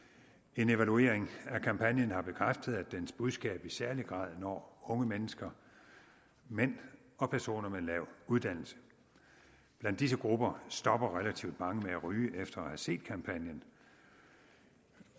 en evaluering af kampagnen har bekræftet at dens budskab i særlig grad når unge mennesker mænd og personer med lav uddannelse blandt disse grupper stopper relativt mange med at ryge efter at have set kampagnen